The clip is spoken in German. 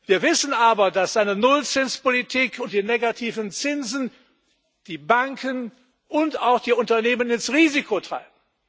Wir wissen aber, dass eine Nullzinspolitik und die negativen Zinsen die Banken und auch die Unternehmen ins Risiko treiben.